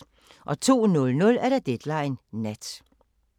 02:00: Deadline Nat